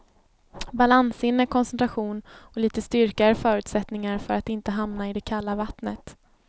Balanssinne, koncentration och lite styrka är förutsättningar för att inte hamna i det kalla vattnet.